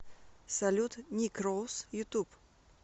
салют ник роуз ютуб